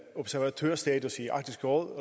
observatørstatus i arktisk råd